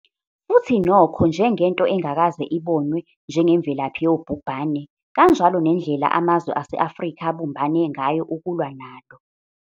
Futhi nokho, njengento engakaze ibonwe njengemvelaphi yobhubhane, kanjalo nendlela amazwe ase-Afrika abumbane ngayo ukulwa nalo.